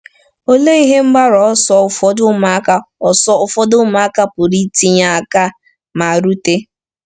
Olee ihe mgbaru ọsọ ụfọdụ ụmụakwụkwọ ọsọ ụfọdụ ụmụakwụkwọ pụrụ itinye aka ma rute?